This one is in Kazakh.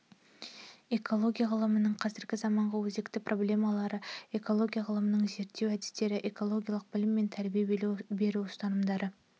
экология ғылымының қазіргі заманғы өзекті проблемалары экология ғылымының зерттеу әдістері экологиялық білім мен тәрбие беру ұстанымдары